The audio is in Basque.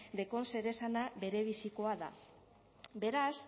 zeresana berebizikoa da beraz